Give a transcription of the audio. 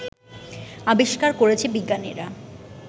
আবিষ্কার করেছে বিজ্ঞানীরা